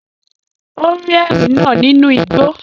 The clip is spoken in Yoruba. Ó rí ẹrin náà nínú igbó